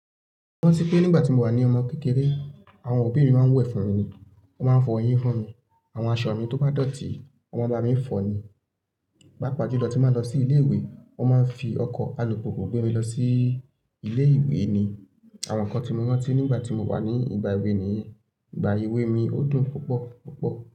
Mo rántí pé nígbà tí mo wà ní ọmọ kékeré, àwọn òbí mi máa ń wẹ̀ fún mi ni, wọ́n máa ń fọ eyín fún mi. Àwọn aṣọ mi tó bá dọ̀tí, wọ́n máa ń ba mi ń fọ ni. Papa jù lọ, tí n bá ń lọ sí ilé-ìwé, wọ́n máa ń fi ọkọ̀ alùpùpù gbé mi lọ sí ilé-ìwé ni. Àwọn nǹkan tí mo rántí nígbà tí mo wà ní ìgbà èwe nìyẹn, ìgbà èwe mi ó dùn púpọ̀, púpọ̀